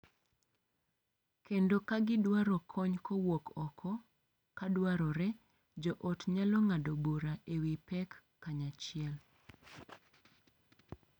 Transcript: Kendo ka gidwaro kony kowuok oko, ka dwarore, joot nyalo ng’ado bura e wi pek kanyachiel.